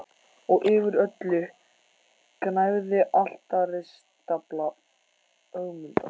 Og yfir öllu gnæfði altaristafla Ögmundar.